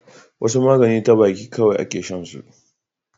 wasu magani ta baki kawai a ke shan su